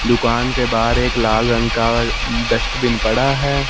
दुकान के बाहर एक लाल रंग का डस्टबिन पड़ा है।